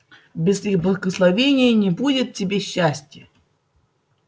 без их благословения не будет тебе счастия